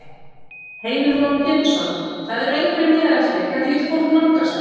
Heimir Már Pétursson: Það eru einhverjir miðar eftir, hvernig getur fólk nálgast þá?